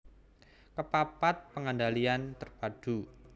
Kepapat pengendalian terpadu